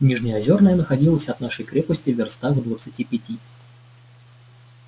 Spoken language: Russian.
нижнеозёрная находилась от нашей крепости вёрстах в двадцати пяти